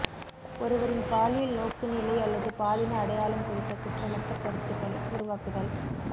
ஒருவரின் பாலியல் நோக்குநிலை அல்லது பாலின அடையாளம் குறித்த குற்றமற்ற கருத்துக்களை உருவாக்குதல்